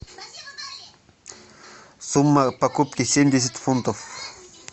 сумма покупки семьдесят фунтов